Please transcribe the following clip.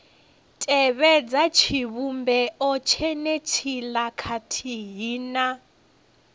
tevhedza tshivhumbeo tshenetshiḽa khathihi na